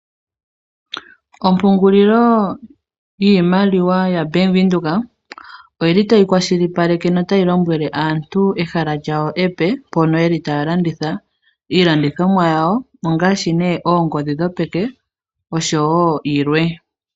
Ompungulilo yiimaliwa yaBank Windhoek oyi li tayi kwashilipaleke notayi lombwele aantu ehala lyawo epe mpono ye li taya landitha iilandithomwa yawo ngaashi nee oongodhi dhopeke osho wo yilwe.